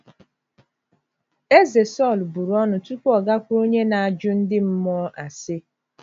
Eze Sọl buru ọnụ tupu ọ gakwuru onye na - ajụ ndị mmụọ ase.